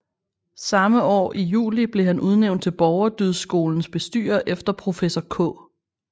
Samme år i juli blev han udnævnt til Borgerdydskolens bestyrer efter professor K